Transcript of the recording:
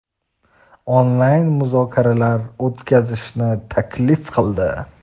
onlayn muzokaralar o‘tkazishni taklif qildi.